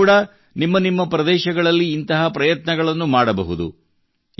ನೀವು ಕೂಡಾ ನಿಮ್ಮ ನಿಮ್ಮ ಪ್ರದೇಶಗಳಲ್ಲಿ ಇಂತಹ ಪ್ರಯತ್ನಗಳನ್ನು ಮಾಡಬಹುದು